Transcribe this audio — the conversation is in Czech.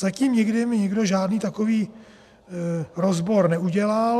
Zatím nikdy mi nikdo žádný takový rozbor neudělal.